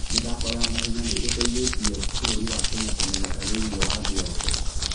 mĩthako ya mahenya nĩ ĩteithĩtie bũrũri wa Kenya kũmenyeka thĩinĩ wa thĩ yothe.